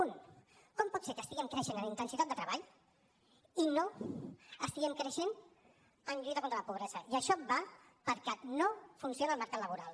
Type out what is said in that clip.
un com pot ser que estiguem creixent en intensitat de treball i no estiguem creixent en lluita contra la pobresa i això va perquè no funciona el mercat laboral